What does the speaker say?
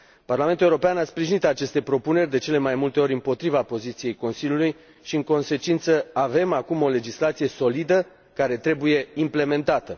Parlamentul European a sprijinit aceste propuneri, de cele mai multe ori împotriva poziției Consiliului și, în consecință, avem acum o legislație solidă, care trebuie implementată.